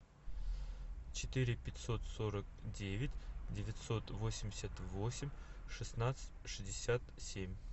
четыре пятьсот сорок девять девятьсот восемьдесят восемь шестнадцать шестьдесят семь